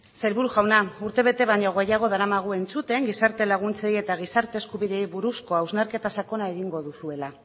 sailburu jauna urtebete baino gehiago daramagu entzuten gizarte laguntzei eta gizarte eskubideei buruzko hausnarketa sakona egingo duzuela